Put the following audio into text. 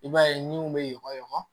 I b'a ye niw bɛ yɔgɔrɛ